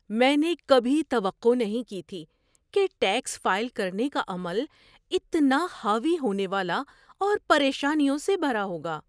میں نے کبھی توقع نہیں کی تھی کہ ٹیکس فائل کرنے کا عمل اتنا حاوی ہونے والا اور پریشانیوں سے بھرا ہوگا۔